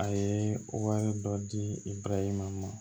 A ye wari dɔ di i baraji ma